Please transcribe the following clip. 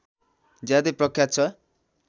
ज्यादै प्रख्यात छ